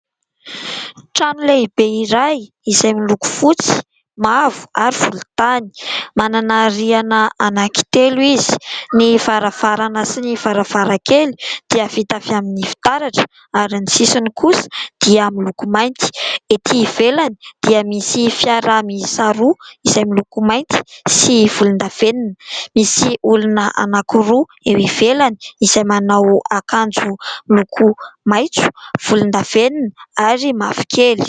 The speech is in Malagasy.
Trano lehibe iray izay miloko fotsy, mavo ary volontany. Manana rihana anankitelo izy. Ny varavarana sy ny varavarankely dia vita avy amin'ny fitaratra ary ny sisiny kosa dia miloko mainty. Ety ivelany dia misy fiara miisa roa izay miloko mainty sy volondavenona. Misy olona anankiroa eo ivelany izay manao akanjo loko maitso, volondavenona ary mavokely.